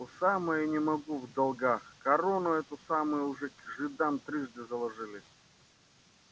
по самое не могу в долгах корону эту самую уже жидам трижды заложили